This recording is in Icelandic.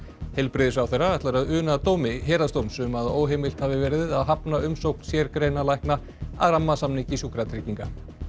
heilbrigðisráðherra ætlar að una dómi Héraðsdóms um að óheimilt hafi verið að hafna umsókn sérgreinalækna að rammasamningi Sjúkratrygginga